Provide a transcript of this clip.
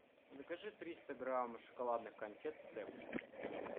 закажи триста грамм шоколадных конфет степ